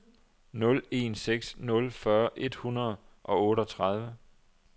nul en seks nul fyrre et hundrede og otteogtredive